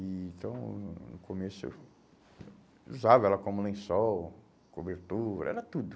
E então, no começo, eu usava ela como lençol, cobertura, era tudo.